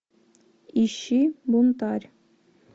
ищи бунтарь